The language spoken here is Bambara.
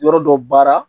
Yɔrɔ dɔ baara